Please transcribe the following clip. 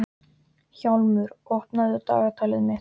Hjálmur, opnaðu dagatalið mitt.